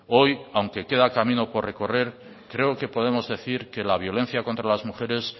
hoy aunque queda camino por recorrer creo que podemos decir que la violencia contra las mujeres